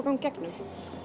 ganga í gegnum